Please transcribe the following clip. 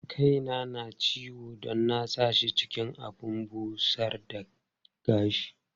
Kaina na ciwo don na sa shi cikin abin busar da gashi.